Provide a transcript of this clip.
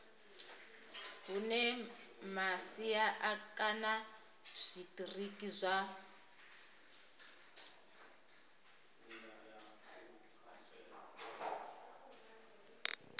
hune masia kana zwitiriki zwa